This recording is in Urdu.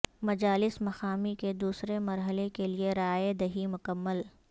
مجالس مقامی کے دوسرے مرحلہ کیلئے رائے دہی مکمل